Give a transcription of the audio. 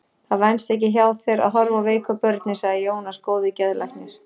Það venst ekki hjá þér að horfa á veiku börnin, sagði Jónas góði geðlæknir.